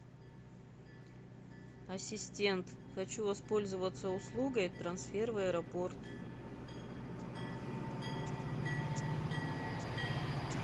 ассистент хочу воспользоваться услугой трансфер в аэропорт